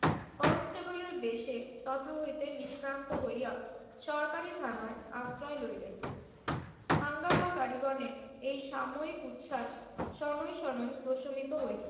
কনস্টেবলের বেশে তথা হইতে নিষ্ক্রান্ত হইয়া সরকারি থানায় আশ্রয় লইলেন। হাঙ্গামাকারীগণের এই সাময়িক উচ্ছ্বাস শনৈ শনৈ প্রশমিত হইল।